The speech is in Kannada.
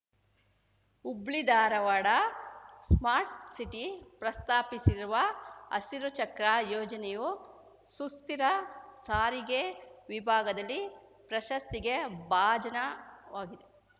ಹುಬ್ಳಿ ಧಾರವಾಡ ಸ್ಮಾರ್ಟ್‌ ಸಿಟಿ ಪ್ರಸ್ತಾಪಿಸಿರುವ ಹಸಿರು ಚಕ್ರ ಯೋಜನೆಯು ಸುಸ್ಥಿರ ಸಾರಿಗೆ ವಿಭಾಗದಲ್ಲಿ ಪ್ರಶಸ್ತಿಗೆ ಭಾಜನವಾಗಿದೆ